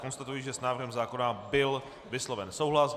Konstatuji, že s návrhem zákona byl vysloven souhlas.